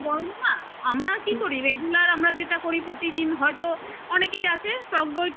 এই গরম এ না আমরা কি করি regular যেটা করি প্রতিদিন হয়তো অনেকেই আছে টক দইটা